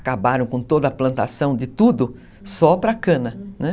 acabaram com toda a plantação de tudo só para cana, né?